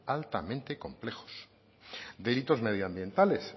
altamente complejos delitos medioambientales